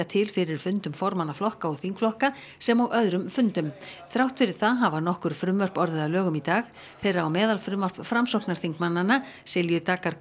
til fyrir fundum formanna flokka og þingflokka sem og öðrum fundum þrátt fyrir það hafa nokkur frumvörp orðið að lögum í dag þeirra á meðal er frumvarp Framsóknarþingmannanna Silju Daggar